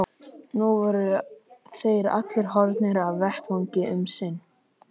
Nú voru þeir allir horfnir af vettvangi um sinn.